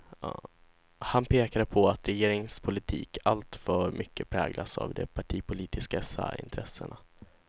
Han pekade på att regeringens politik alltför mycket präglas av de partipolitiska särintressena.